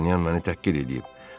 Dartanyan məni təhqir eləyib.